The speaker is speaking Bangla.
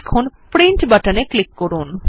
এখন প্রিন্ট বাটনে ক্লিক করুন